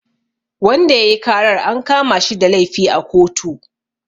Wanda yayi karar an kamashi da laifi a kotu